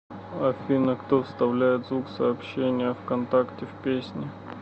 афина кто вставляет звук сообщения вконтакте в песни